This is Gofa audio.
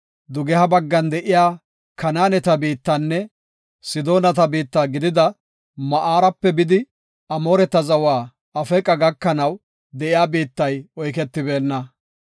Dugeha baggan de7iya Kanaaneta biittanne, Sidoonata biitta gidida Maarape bidi Amooreta zawa Afeeqa gakanaw de7iya biittay oyketibeenna.